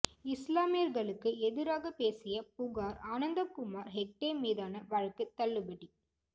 இஸ்லாமியர்களுக்கு எதிராக பேசிய புகார் அனந்த்குமார் ஹெக்டே மீதான வழக்கு தள்ளுபடி